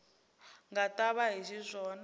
nga ta va hi xiswona